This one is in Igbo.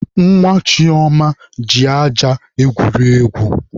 Nwa Chioma ji aja egwuri egwu.